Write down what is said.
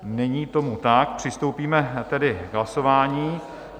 Není tomu tak, přistoupíme tedy k hlasování.